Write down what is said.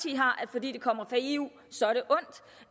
fordi det kommer fra eu